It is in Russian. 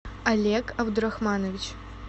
олег абдурахманович